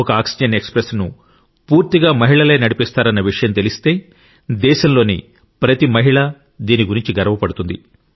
ఒక oxygen express ను పూర్తిగా మహిళలే నడిపిస్తారన్న విషయం తెలిస్తే దేశంలోని ప్రతి మహిళ దీని గురించి గర్వపడుతుంది